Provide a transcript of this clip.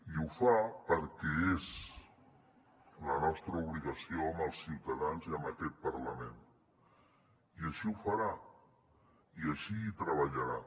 i ho fa perquè és la nostra obligació amb els ciutadans i amb aquest parlament i així ho farà i així treballarà